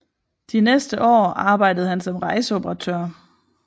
De næste år arbejdede han som rejseoperatør